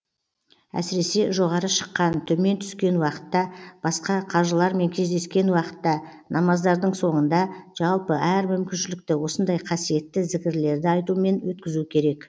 әсіресе жоғары шыққан төмен түскен уақытта басқа қажылармен кездескен уақытта намаздардың соңында жалпы әр мүмкіншілікті осындай қасиетті зікірлерді айтумен өткізу керек